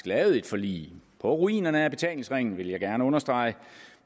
lavet et forlig på ruinerne af betalingsringen vil jeg gerne understrege